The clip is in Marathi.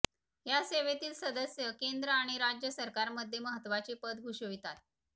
या सेवेतील सदस्य केंद्र आणि राज्य सरकारमध्ये महत्त्वाचे पद भूषवितात